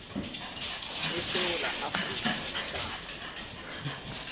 esewula afrika ukuhlala